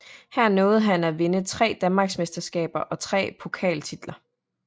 Her nåede han at vinde 3 danmarksmesterskaber og 3 pokaltitler